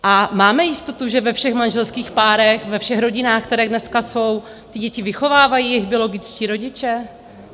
A máme jistotu, že ve všech manželských párech, ve všech rodinách, které dneska jsou, ty děti vychovávají jejich biologičtí rodiče?